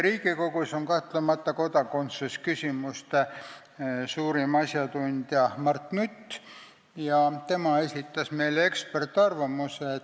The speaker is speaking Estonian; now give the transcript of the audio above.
Riigikogus on kahtlemata kodakondsusküsimuste suurim asjatundja Mart Nutt, kes esitas meile eksperdiarvamuse.